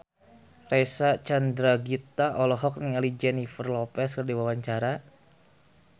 Reysa Chandragitta olohok ningali Jennifer Lopez keur diwawancara